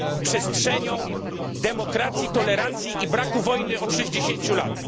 jest przestrzenią demokracji, tolerancji i braku wojny od 60